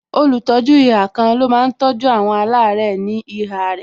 Olùtọ́jú ihà kan ló máa tọ́jú àwọn alare ní ihà rẹ